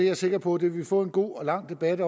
er sikker på vi vil få en god og lang debat